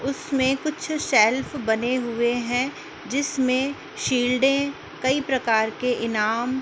उसमें कुछ शेल्व बने हुए हैं जिसमें शील्डें कई प्रकार के इनाम --